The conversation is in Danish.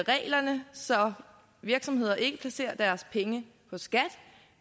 reglerne så virksomheder ikke placerer deres penge hos skat